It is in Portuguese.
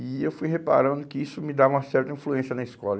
E eu fui reparando que isso me dava uma certa influência na escola.